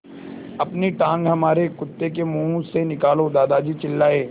अपनी टाँग हमारे कुत्ते के मुँह से निकालो दादाजी चिल्लाए